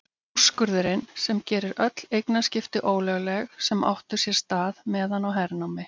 Úrskurðinn sem gerir öll eignaskipti ólögleg sem áttu sér stað meðan á hernámi